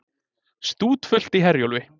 Stútfullt í Herjólfi